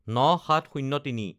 ০৯/০৭/০৩